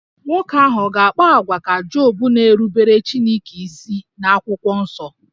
Nwoke ahụ ọ̀ ga-akpa àgwà ka Job na-erubere Chineke isi n'akwụkwọ nsọ?